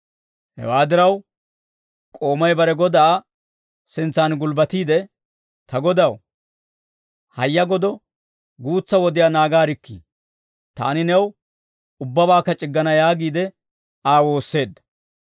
Hewaa diraw, k'oomay bare godaa sintsaan gulbbatiide, ‹Ta godaw, hayya godo guutsa wodiyaa naagaarikkii; taani new ubbabaakka c'iggana yaagiide Aa woosseedda.›